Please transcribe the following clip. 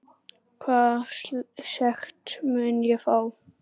Hvaða sekt mun ég fá?